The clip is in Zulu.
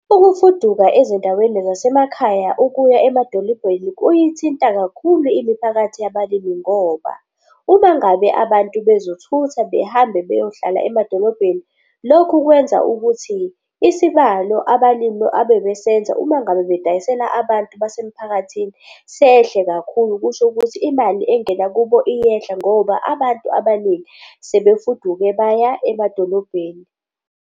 Ukufuduka ezindaweni zasemakhaya ukuya emadolobheni kuyithinta kakhulu imiphakathi yabalimi ngoba uma ngabe abantu bezothutha behambe beyohlala emadolobheni, lokhu kwenza ukuthi isibalo abalimi abebesenza uma ngabe bedayisela abantu basemphakathini sehle kakhulu. Kusho ukuthi imali engena kubo iyehla ngoba abantu abaningi sebefuduke baya emadolobheni.